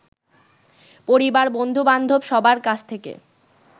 পরিবার, বন্ধুবান্ধব, সবার কাছ থেকে